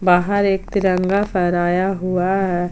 बाहर एक तिरंगा फहराया हुआ है।